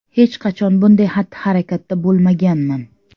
Hech qachon bunday xatti-harakatda bo‘lmaganman.